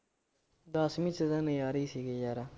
ਦਸਵੀਂ ਚ ਤਾਂ ਨਜਾਰੇ ਈ ਸੀਗੇ ਯਾਰ।